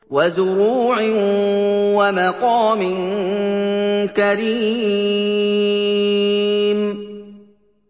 وَزُرُوعٍ وَمَقَامٍ كَرِيمٍ